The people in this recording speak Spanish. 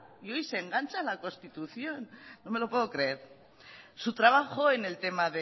y hoy se engancha a la constitución no me lo puedo creer su trabajo en el tema